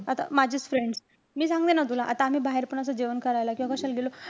आता माझीचं friend. मी सांगते ना तुला, आता आम्ही बाहेर पण असं जेवण करायला किंवा कशाला गेलो.